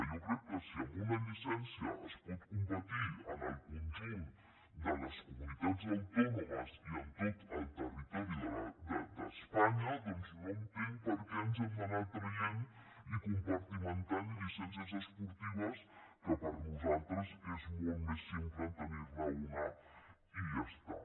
jo crec que si amb una llicència es pot competir en el conjunt de les comunitats autònomes i en tot el territori d’espanya no entenc per què ens hem d’anar traient i compartimentant llicències esportives que per nosaltres és molt més simple tenir ne una i ja està